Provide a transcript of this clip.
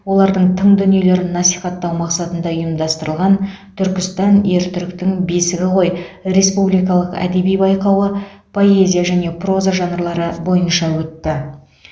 олардың тың дүниелерін насихаттау мақсатында ұйымдастырылған түркістан ер түріктің бесігі ғой республикалық әдеби байқауы поэзия және проза жанрлары бойынша өтті